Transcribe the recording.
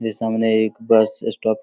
ये सामने एक बस स्टॉप --